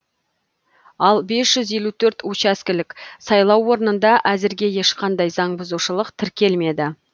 ал бес жүз елу төрт учаскелік сайлау орынында әзірге ешқандай заң бұзушылық тіркелмеді